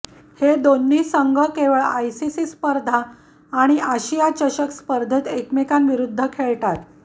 हे दोन्ही संघ केवळ आयसीसी स्पर्धा आणि आशिया चषक स्पर्धेत एकमेकांविरूद्ध खेळतात